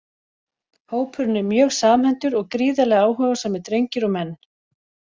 Hópurinn er mjög samhentur og gríðarlega áhugasamir drengir og menn!